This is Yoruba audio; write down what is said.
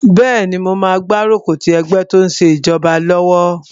Bẹ́ẹ̀ni, mo máa gbárùkù ti ẹgbẹ́ tó n ṣe ìjọba lọ́wọ́